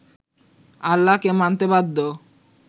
আল্লাহকে মানতে বাধ্য